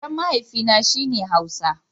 Yaren mahaifi na, shi ne Hausa